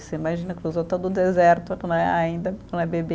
Você imagina cruzou todo o deserto né, ainda com a bebê.